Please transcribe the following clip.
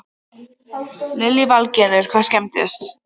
Lillý Valgerður: Hvað skemmdist?